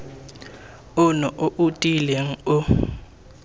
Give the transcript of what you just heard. ono o o tiileng o